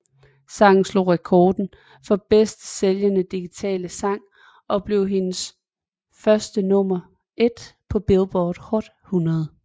Sangen slog rekorden for bedst sælgende digitale sang og blev hendes første nummer ét på Billboard Hot 100